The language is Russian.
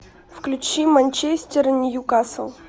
включи манчестер ньюкасл